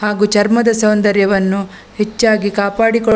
ಹಾಗು ಚರ್ಮದ ಸೌಂದರ್ಯವನ್ನು ಹೆಚ್ಚಾಗಿ ಕಾಪಾಡಿಕೊಳ್ಳ --